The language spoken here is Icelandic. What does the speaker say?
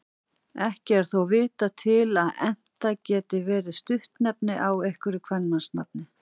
Ekki er þó vitað til að Enta geti verið stuttnefni af einhverju kvenmannsnafni.